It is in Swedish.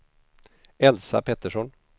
Elsa Pettersson